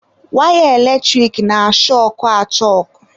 Waya eletrik na-ashọkụ achọkụ.